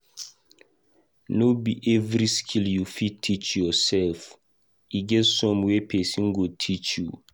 No be every skill you fit teach yoursef, e get some wey pesin go teach you.